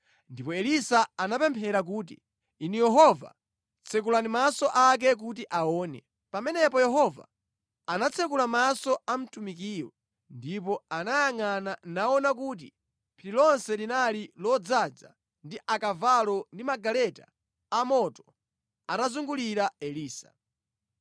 Ndipo Elisa anapemphera kuti, “Inu Yehova tsekulani maso ake kuti aone.” Pamenepo Yehova anatsekula maso a mtumikiyo, ndipo anayangʼana naona kuti phiri lonse linali lodzaza ndi akavalo ndi magaleta a moto atazungulira Elisa.